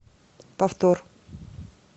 повтор